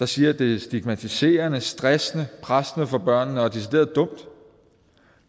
siger at det er stigmatiserende stressende pressende for børnene og decideret dumt